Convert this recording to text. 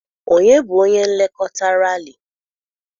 Ọnye bụ onye nlekọta Ralị?